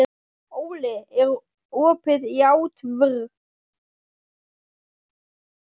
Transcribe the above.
Óli, er opið í ÁTVR?